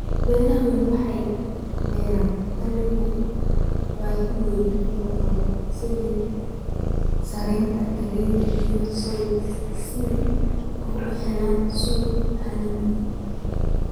Beeraha waaweyn waxay beeraan dalagyo baahi weyn loo qabo sida sarreenka, galleyda, iyo soy si ay u helaan suuqyada caalamka.